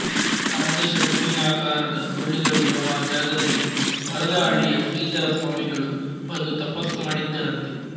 ಅರ್ಧ ಶಂಕುವಿನಾಕಾರಾದ ಸುರುಳಿಗಳಿರೋ ಆ ಜಾಗದಲ್ಲಿ ವರದಹಳ್ಳಿಯ ಶ್ರೀಧರ ಸ್ವಾಮಿಗಳು ಬಂದು ತಪಸ್ಸು ಮಾಡಿದ್ದರಂತೆ